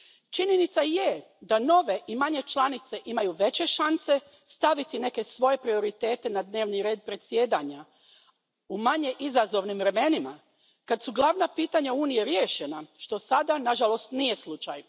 Činjenica je da nove i manje članice imaju veće šanse staviti neke svoje prioritete na dnevni red predsjedanja u manje izazovnim vremenima, kad su glavna pitanja Unije riješena, što sada, nažalost, nije slučaj.